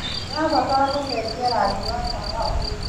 ndĩrabatara gũcenjia rangi wa tawa ũyũ